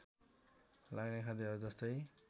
लाग्ने खाद्यहरू जस्तै